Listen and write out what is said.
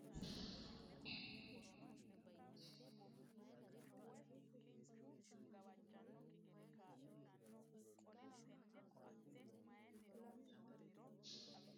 Loossinanni daqiiqa konni woroonni shiqqino Su mi ledaano Batinyisaanonna xa muwa su mi ledaano batinyisaanonna deerrisaano kiiro horonsidhine woroonni Deerrisaano Kiiro nooha fooqa darga wonshitine guuta coy Taqa.